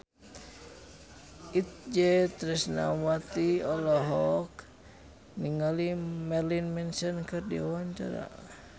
Itje Tresnawati olohok ningali Marilyn Manson keur diwawancara